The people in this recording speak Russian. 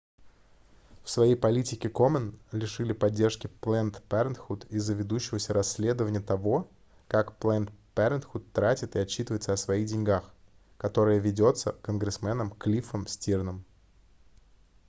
в своей политике komen лишили поддержки planned parenthood из-за ведущегося расследования того как planned parenthood тратит и отчитывается о своих деньгах которое ведётся конгрессменом клиффом стирном